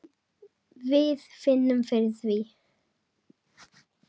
Við finnum fyrir því.